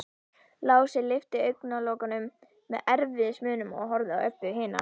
Lási lyfti augnalokunum með erfiðismunum og horfði á Öbbu hina.